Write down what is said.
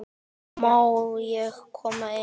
Má ég koma inn?